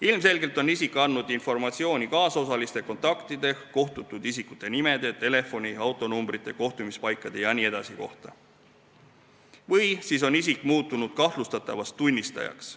Ilmselgelt on isik andnud informatsiooni kaasosaliste kontaktide, isikute nimede, telefoni- ja autonumbrite, kohtumispaikade jne kohta või siis on isik muutunud kahtlustatavast tunnistajaks.